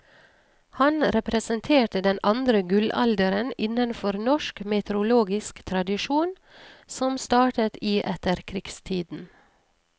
Han representerte den andre gullalderen innenfor norsk meteorologisk tradisjon, som startet i etterkrigstiden.